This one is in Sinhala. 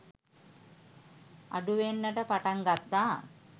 අඩුවෙන්නට පටන් ගත්තා